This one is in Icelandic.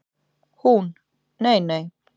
Hún: Nei nei.